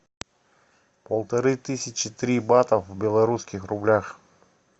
полторы тысячи три бата в белорусских рублях